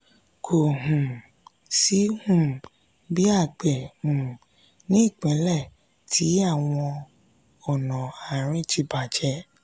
kò um sí um ibi àgbẹ̀ um ní ìpínlẹ̀ tí àwọn ònà àárín ti bàjẹ́